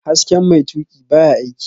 Hasken mai tuƙina baya aiki